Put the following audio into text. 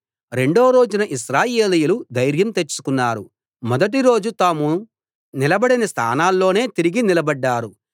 రెండో రోజున ఇశ్రాయేలీయులు ధైర్యం తెచ్చుకున్నారు మొదటి రోజు తాము నిలబడిన స్థానాల్లోనే తిరిగి నిలబడ్డారు